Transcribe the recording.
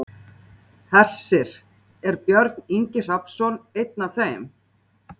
Hersir: Er Björn Ingi Hrafnsson einn af þeim?